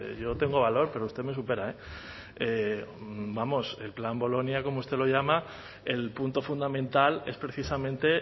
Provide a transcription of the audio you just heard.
yo tengo valor pero usted me supera vamos el plan bolonia como usted lo llama el punto fundamental es precisamente